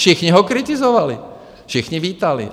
Všichni ho kritizovali, všichni vítali.